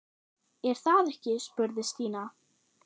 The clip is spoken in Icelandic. Er það ekki? spurði Stína.